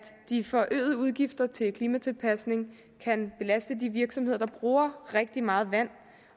de forøgede udgifter til klimatilpasning kan belaste de virksomheder der bruger rigtig meget vand